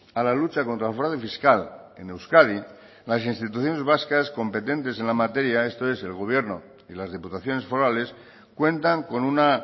a la lucha contra el fraude fiscal en euskadi las instituciones vascas competentes en la materia esto es el gobierno y las diputaciones forales cuentan con una